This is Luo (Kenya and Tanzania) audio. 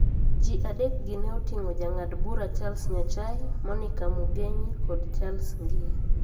Ji adek gi ne oting`o Jang'ad Bura Charles Nyachae, Monica Mugenyi, kod Justice Ngie.